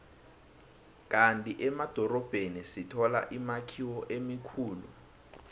kandi emadorobheni sithola imakhiwo emikhulu